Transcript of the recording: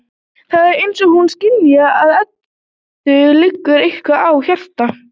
Það er eins og hún skynji að Eddu liggur eitthvað á hjarta.